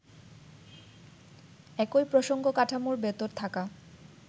একই প্রসঙ্গ-কাঠামোর ভেতর থাকা